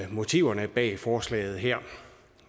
motiverne bag forslaget her